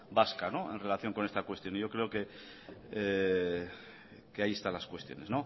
vasca en relación con esta cuestión y yo creo que ahí están las cuestiones